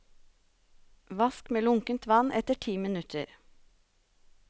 Vask med lunkent vann etter ti minutter.